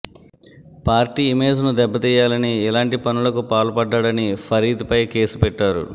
party ఇమేజ్ను దెబ్బతీయాలని ఇలాంటి పనులకు పాల్పడ్డాడని ఫరీద్పై కేసు పెట్టారు